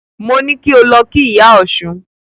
Mo ní kí o lọ kí Ìyá Ọ̀ṣun.